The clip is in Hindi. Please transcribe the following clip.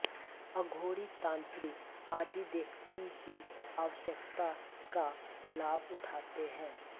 अघोरी तांत्रिक आदि देखती की आवश्यकता का लाभ उठाते हैं